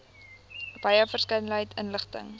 wye verskeidenheid inligting